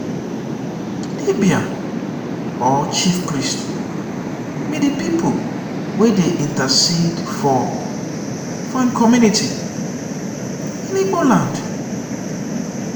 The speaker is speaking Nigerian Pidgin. dibia or chiefpriest be de people wey dey intercede for for im community in igbo land.